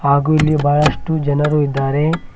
ಹಾಗು ಇಲ್ಲಿ ಬಹಳಷ್ಟು ಜನರು ಇದ್ದಾರೆ.